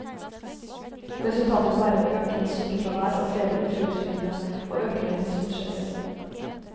Resultatet vil være økende sykefravær og flere uføretrygdede, og økende helsebudsjetter.